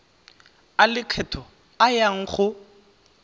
a lekgetho a yang go